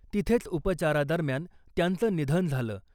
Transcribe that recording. तिथेच उपचारा दरम्यान त्यांचं निधन झालं .